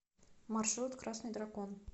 маршрут красный дракон